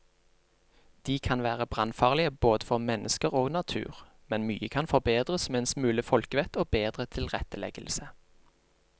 De kan være brannfarlige både for mennesker og natur, men mye kan forbedres med en smule folkevett og bedre tilretteleggelse.